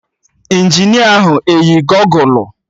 Injinia ahụ eyi gọgụlụ?